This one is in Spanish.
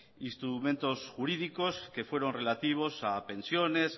instrumentos jurídicos que fueron relativos a pensiones